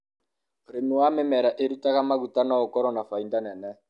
ũrĩmi wa mimera ĩrutaga maguta no ũkorwo na faida nene